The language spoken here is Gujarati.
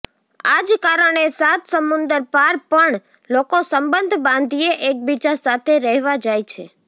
આજ કારણે સાત સમુંદર પાર પણ લોકો સબંધ બાંધીએ એકબીજા સાથે રહેવા જાય છે